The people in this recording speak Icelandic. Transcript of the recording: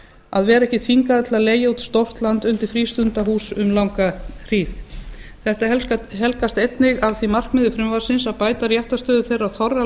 að vera ekki þvingaður til að leigja út stórt land undir frístundahús um langa hríð þetta helgast einnig af því markmiði frumvarpsins að bæta réttarstöðu þeirra þorra